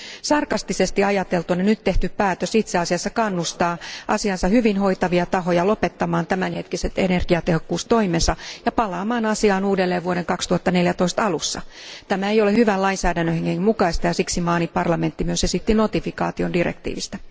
Sarkastisesti ajateltuna nyt tehty päätös itse asiassa kannustaa asiansa hyvin hoitavia tahoja lopettamaan tämänhetkiset energiatehokkuustoimensa ja palaamaan asiaan uudelleen vuoden 2014 alussa. Tämä ei ole hyvän lainsäädännön hengen mukaista, ja siksi maani parlamentti myös esitti notifikaation direktiivistä.